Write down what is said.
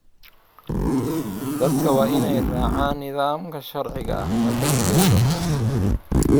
Dadku waa inay raacaan nidaamka sharciga ah marka la gowraco.